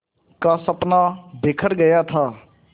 का सपना बिखर गया था